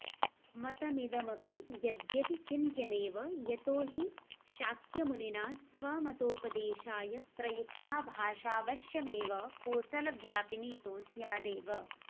मतमिदमपि यद्यपि चिन्त्यमेव यतो हि शाक्यमुनिना स्वमतोपदेशाय प्रयुक्ता भाषाऽवश्यमेव कोसलव्यापिनी तुः स्यादेव